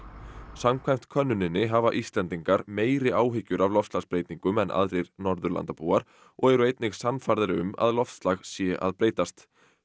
samkvæmt könnuninni hafa Íslendingar meiri áhyggjur af loftslagsbreytingum en aðrir Norðurlandabúar og eru einnig sannfærðari um að loftslag sé að breytast